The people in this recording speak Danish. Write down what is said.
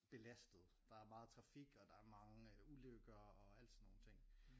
Belastet der er meget trafik og der er mange ulykker og alt sådan nogle ting